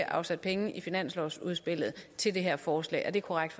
afsat penge i finanslovsudspillet til det her forslag er det korrekt